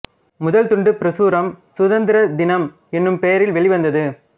முதல் துண்டுப் பிரசுரம் சுதந்திர தினம் என்னும் பெயரில் வெளிவந்தது